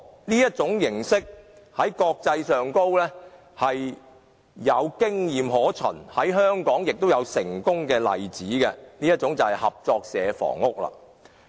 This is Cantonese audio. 這種形式在國際上有經驗可循，在香港也有成功的例子，那便是合作社房屋。